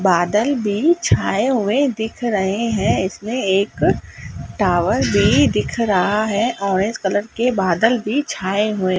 बादल भी छाए हुए दिख रहे हैं इसमें एक टावर भी दिख रहा है ऑरेंज कलर के बादल भी छाए हुए।--